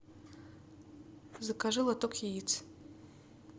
закажи лоток яиц